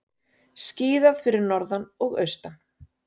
Skíðað fyrir norðan og austan